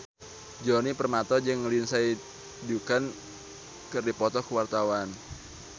Djoni Permato jeung Lindsay Ducan keur dipoto ku wartawan